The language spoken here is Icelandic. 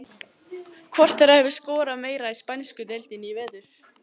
Hvor þeirra hefur skorað meira í spænsku deildinni í vetur?